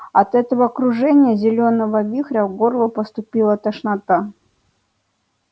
от этого кружения зелёного вихря к горлу подступила тошнота